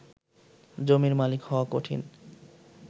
জমির মালিক হওয়া কঠিন